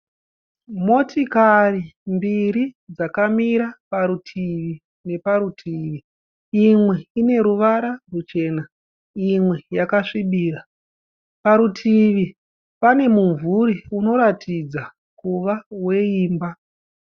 Motikari mbiri dzakamira parutivi neparutivi imwe ine ruvara ruchena imwe yakasvibira. Parutivi pane mumvuri unoratidza kuva weimba.